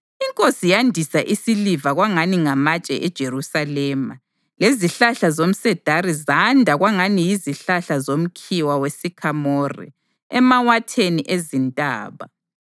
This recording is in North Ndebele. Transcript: Inkosi yandisa isiliva kwangani ngamatshe eJerusalema, lezihlahla zomsedari zanda kwangani yizihlahla zomkhiwa wesikhamore emawatheni ezintaba.